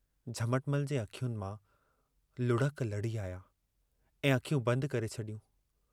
झमटमल जे अखियुनि मां लुढ़क लढ़ी आया ऐं अखियूं बंदि करे छॾियूं।